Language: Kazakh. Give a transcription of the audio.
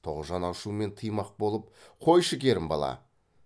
тоғжан ашумен тыймақ болып қойшы керімбала